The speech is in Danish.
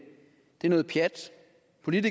hvert